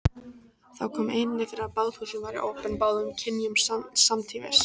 Þó kom einnig fyrir að baðhúsin væru opin báðum kynjum samtímis.